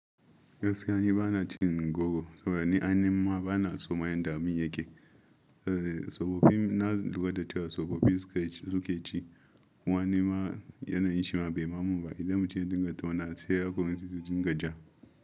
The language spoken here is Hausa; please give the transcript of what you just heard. Gaskiya ni bana cin goro saboda ni aihim ma bana so mayen da abun yake. Tsofaffi na lura da cewa tsofaffi suke ci. Wane ma yana yin shima bai mamu ba idan muke dinga tauna sai ya koyi cin gajiya.